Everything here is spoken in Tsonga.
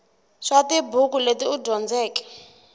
swa tibuku leti u dyondzeke